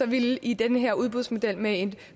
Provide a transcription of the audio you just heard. ville det i den her udbudsmodel med et